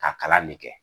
Ka kalan ne kɛ